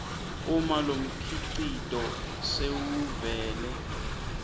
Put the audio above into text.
uma lomkhicito sewuvele